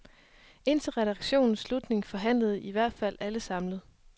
Indtil redaktionens slutning forhandlede i hvert fald alle samlet.